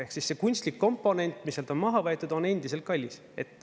Ehk siis see kunstlik komponent, mis sealt on maha võetud, on endiselt kallis.